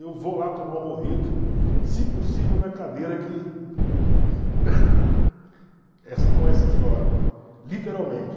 Eu vou lá tomar o mojito, se possível na cadeira que... essa com essa eu choro, literalmente.